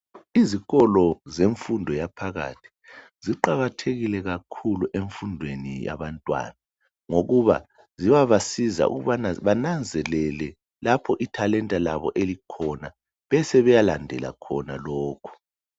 Izikolo zemfundo yaphakathi ziqakathekile kakhulu emfundweni yabantwana ngokuba ziyabasiza ukubana bananzelele lapho ithalenta labo elikhona sebeyalandela khona lokho.